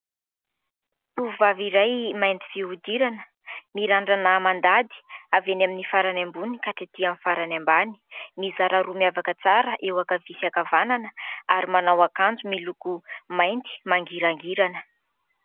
Tovovavy iray mainty fihodirana. Mirandrana mandady, avy eny amin'ny farany ambony ka hatretỳ amin'ny farany ambany. Mizara roa miavaka tsara eo ankavia sy ankavanana ary manao akanjo miloko mainty mangirangirana.